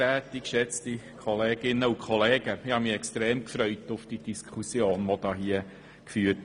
Ich habe mich sehr auf diese Diskussion gefreut.